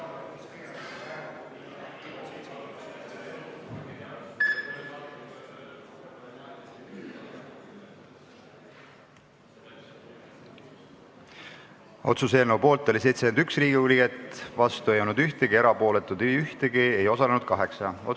Hääletustulemused Otsuse eelnõu poolt oli 71 Riigikogu liiget, vastu ei olnud keegi, ka erapooletuid ei olnud, ei osalenud 8 Riigikogu liiget.